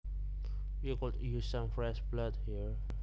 We could use some fresh blood here